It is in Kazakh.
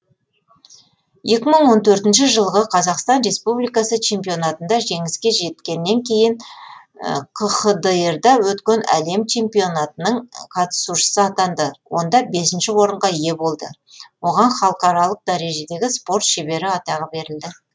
екі мың он төртінші жылғы қазақстан республикасы чемпионатында жеңіске жеткеннен кейін кхдр да өткен әлем чемпионатының қатысушысы атанды онда бесінші орынға ие болды оған халықаралық дәрежедегі спорт шебері атағы берілді